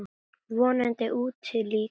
Vonandi úti líka.